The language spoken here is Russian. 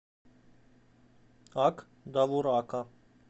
ак довурака